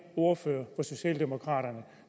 ordfører fra socialdemokraterne